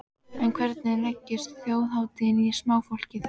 En hvernig leggst þjóðhátíðin í smáfólkið?